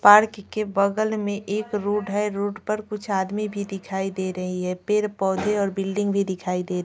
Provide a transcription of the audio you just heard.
park के बगल में एक रोड है रोड पर कुछ आदमी भी दिखाई दे रही है पेड़-पौधे और बिल्डिंग भी दिखाई दे --